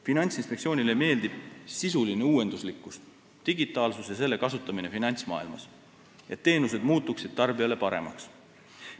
Finantsinspektsioonile meeldib sisuline uuenduslikkus, digitaalsus ja selle kasutamine finantsmaailmas, et teenused muutuksid tarbijale paremaks.